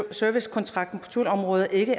servicekontrakten på thuleområdet ikke